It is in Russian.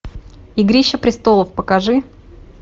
игрища престолов покажи